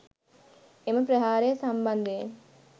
එම ප්‍රහාරය සම්බන්ධයෙන්